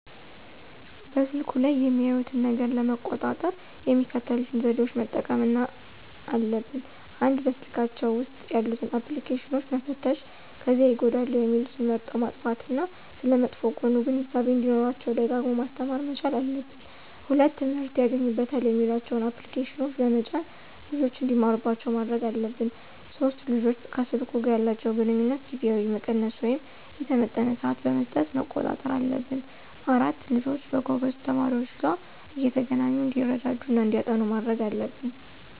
በስልኩ ላይ የሚያዩትን ነገር ለመቆጣጠር የሚከተሉትን ዘዴዎች መጠቀምና አለብን፦ ፩) በስልካቸው ውስጥ ያሉትን አፕልኬሽኖች መፈተሽ ከዚያ ይጎዳሉ የሚሉትን መርጠው ማጥፋት እና ስለመጥፎ ጎኑ ግንዛቤው እንዲኖራቸው ደጋግሞ ማስተማር መቻል አለብን። ፪) ትምህርት ያገኙበታል የሚሏቸውን አፕልኬሽኖች በመጫን ልጆች እንዲማሩባቸው ማድረግ አለብን። ፫) ልጆች ከሰልኩ ጋር ያላቸውን ግንኙነት ጊዜውን መቀነስ ወይም የተመጠነ ስዓት በመስጠት መቆጣጠር አለብን። ፬) ልጆች ከጎበዝ ተማሪዎች ጋር እየተገናኙ እንዲረዳዱ እና እንዲያጠኑ ማድረግ አለብን